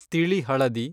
ತಿಳಿ ಹಳದಿ